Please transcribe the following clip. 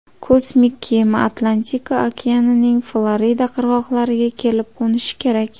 Kosmik kema Atlantika okeanining Florida qirg‘oqlariga kelib qo‘nishi kerak.